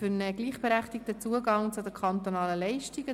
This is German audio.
Für einen gleichberechtigten Zugang zu den kantonalen Leistungen».